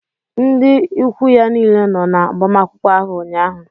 Ndị ikwu ya niile nọ na agbamakwụkwọ áhù ụnyaahụ